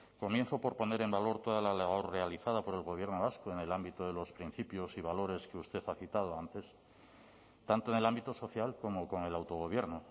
comienzo por poner en valor toda la labor realizada por el gobierno vasco en el ámbito de los principios y valores que usted ha citado antes tanto en el ámbito social como con el autogobierno